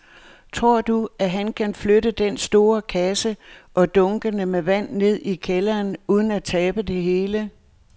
Tror du, at han kan flytte den store kasse og dunkene med vand ned i kælderen uden at tabe det hele?